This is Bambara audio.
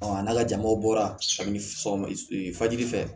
a n'a ka jamaw bɔra samiyɛ sɔgɔmaji fɛ